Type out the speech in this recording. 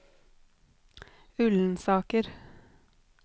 Ullensaker